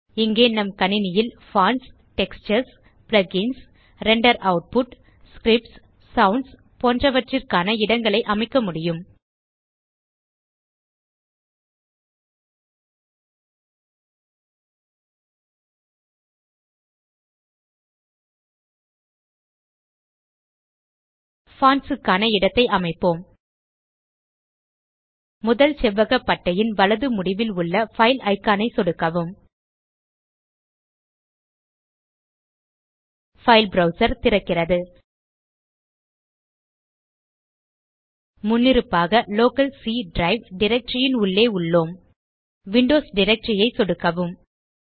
இங்கே நம் கணினியில் fonts textures plugins render output scripts sounds போன்றவற்றிற்கான இடங்களை அமைக்க முடியும் பான்ட்ஸ் க்கான இடத்தை அமைப்போம் முதல் செவ்வக பட்டையின் வலது முடிவில் உள்ள பைல் இக்கான் ஐ சொடுக்கவும் பைல் ப்ரவ்சர் திறக்கிறது முன்னிருப்பாக லோக்கல் சி டிரைவ் டைரக்டரி ன் உள்ளே உள்ளோம் விண்டோஸ் டைரக்டரி ஐ சொடுக்கவும்